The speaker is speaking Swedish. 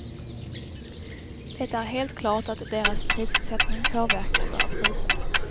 Det är helt klart att deras prissättning påverkar våra priser.